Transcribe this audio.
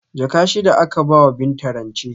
Jaka shida aka bawa Binta rance